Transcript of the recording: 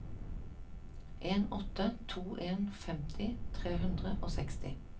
en åtte to en femti tre hundre og seksti